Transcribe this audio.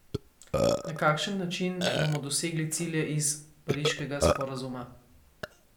Na kakšen način bomo dosegli cilje iz Pariškega sporazuma?